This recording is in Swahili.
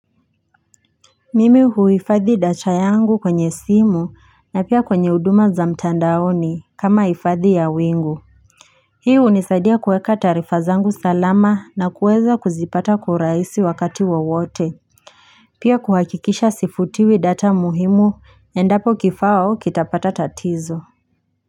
Mimi huifadhi data yangu kwenye simu na pia kwenye huduma za mtandaoni kama ifadhi ya wingu Hii unisaidia kuweka taarifa zangu salama na kueza kuzipata kwa uraisi wakati wa wote Pia kuhakikisha sifutiwi data muhimu endapo kifao kitapata tatizo.